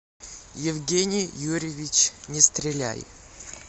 евгений юрьевич нестреляй